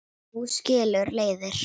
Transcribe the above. Nú skilur leiðir.